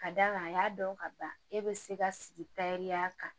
Ka d'a kan a y'a dɔn ka ban e bɛ se ka sigi ya kan